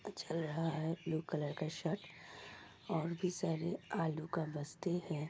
अ चल रहा है ब्लू कलर का शर्ट और भी सारे आलू का बस्ते है।